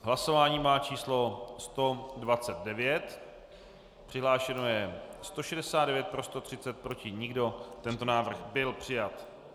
Hlasování má číslo 129, přihlášeno je 169, pro 130, proti nikdo, tento návrh byl přijat.